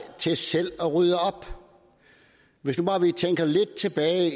til selv at rydde op hvis man bare tænker lidt tilbage